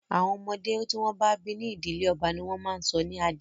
Àwọn ọmọ tí wọ́n bí ní ìdílé ọba ní wọ́n ń sọ ní Adé